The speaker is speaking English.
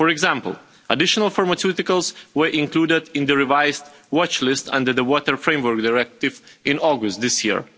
For example, additional pharmaceuticals were included in the revised watch-list under the Water Framework Directive in August this year.